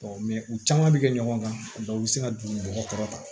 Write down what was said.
u caman bɛ kɛ ɲɔgɔn kan u bɛ se ka dugu kɔrɔta